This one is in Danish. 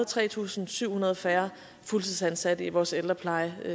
tre tusind syv hundrede færre fuldtidsansatte i vores ældrepleje